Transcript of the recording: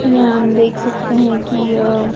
यहां हम देख सकते हैं कि यह--